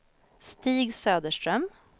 Stig Söderström